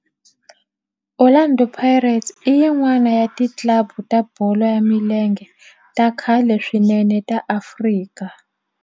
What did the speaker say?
Orlando Pirates i yin'wana ya ti club ta bolo ya milenge ta khale swinene ta Afrika